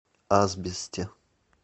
асбесте